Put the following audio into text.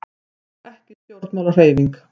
Við vorum ekki stjórnmálahreyfing.